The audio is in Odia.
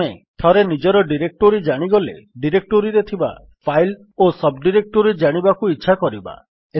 ଆମେ ଥରେ ନିଜର ଡିରେକ୍ଟୋରୀ ଜାଣିଗଲେ ଡିରେକ୍ଟୋରୀରେ ଥିବା ଫାଇଲ୍ ଓ ସବ୍ ଡିରେକ୍ଟୋରୀ ଜାଣିବାକୁ ଇଚ୍ଛା କରିବା